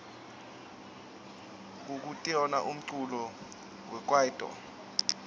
kukitona umculo wekwaito